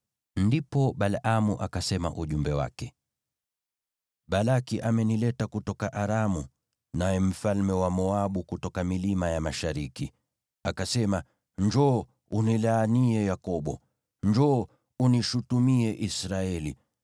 Ndipo Balaamu akasema ujumbe wake: “Balaki amenileta kutoka Aramu, mfalme wa Moabu kutoka milima ya mashariki. Akasema, ‘Njoo, unilaanie Yakobo; njoo unishutumie Israeli.’